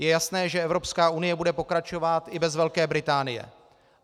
Je jasné, že Evropská unie bude pokračovat i bez Velké Británie.